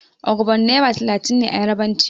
Ogbon' naira talatin ne a yarbanci.